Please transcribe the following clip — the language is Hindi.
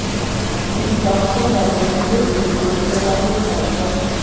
दीपिका आने वाले पहले बेबी को लेकर काफी उत्साहित हैं